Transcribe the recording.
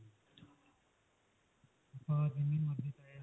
ਬਾਹਰ ਜਿੰਨੀ ਮਰਜੀ ਚਾਹੇ